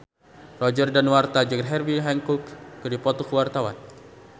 Roger Danuarta jeung Herbie Hancock keur dipoto ku wartawan